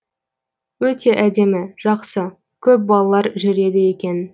өте әдемі жақсы көп балалар жүреді екен